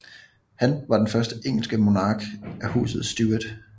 Han var den første engelske monark fra Huset Stuart